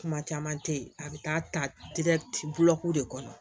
Kuma caman tɛ ye a bɛ taa ta de kɔnɔ